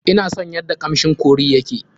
Ina son yadda kamshin curry ya ke.